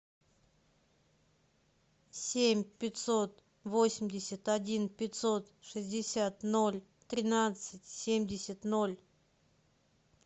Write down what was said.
семь пятьсот восемьдесят один пятьсот шестьдесят ноль тринадцать семьдесят ноль